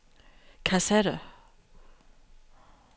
kassette